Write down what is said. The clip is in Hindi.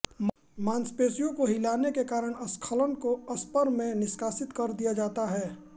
मांसपेशियों को हिलाने के कारण स्खलन को स्पर में निष्कासित कर दिया जाता है